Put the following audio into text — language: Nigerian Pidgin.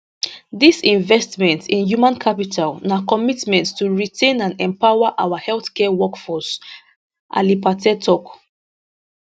dis investment in human capital na commitment to retain and empower our healthcare workforce ali pate tok